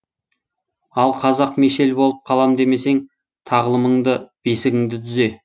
ал қазақ мешел болып қалам демесең тағлымыңды бесігіңді түзе